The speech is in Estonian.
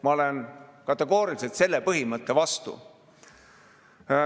Ma olen kategooriliselt selle põhimõtte vastu.